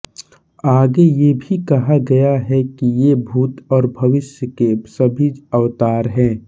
आगे यह भी कहा गया है कि ये भूत और भविष्य के सभी अवतार हैं